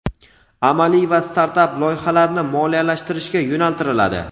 amaliy va startap loyihalarni moliyalashtirishga yo‘naltiriladi.